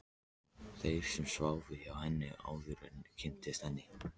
Þeim sem sváfu hjá henni, áður en ég kynntist henni.